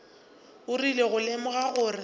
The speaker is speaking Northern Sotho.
o rile go lemoga gore